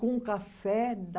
Com café da